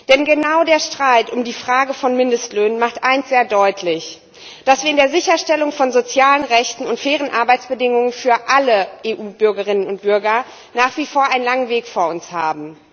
Denn genau der Streit um die Frage von Mindestlöhnen macht eines sehr deutlich dass wir in der Sicherstellung von sozialen Rechten und fairen Arbeitsbedingungen für alle EU Bürgerinnen und Bürger nach wie vor einen langen Weg vor uns haben.